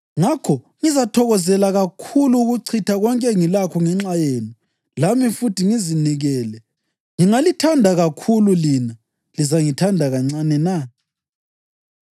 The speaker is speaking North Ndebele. Ngakho ngizathokozela kakhulu ukuchitha konke engilakho ngenxa yenu lami futhi ngizinikele. Ngingalithanda kakhulu, lina lizangithanda kancane na?